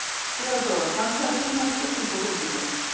Theodóra, pantaðu tíma í klippingu á fimmtudaginn.